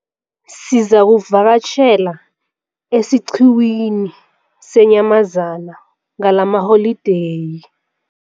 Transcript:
Sizakuvakatjhela esiqhiwini seenyamazana ngalamaholideyi.